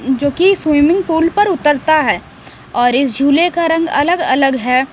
जो कि swimming pool पर उतरता है और इस झूले का रंग अलग-अलग है।